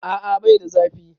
A'a bai da zafi.